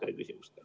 Aitäh!